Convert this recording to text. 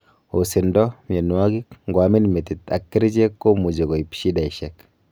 Osindo, mionwogik, ngoumian metit ak kerchek komuchi koip shidaishek